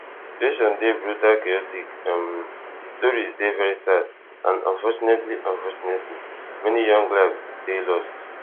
di situation dey brutal chaotic um di stories dey very sad and unfortunately unfortunately many young lives dey lost